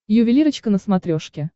ювелирочка на смотрешке